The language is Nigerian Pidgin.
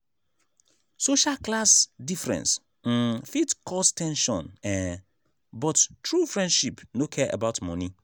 social class difference um fit cause ten sion um but true friendship no care about money.